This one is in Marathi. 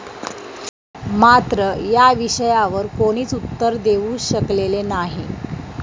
मात्र या विषयावर कोणीच उत्तर देऊ शकलेले नाही.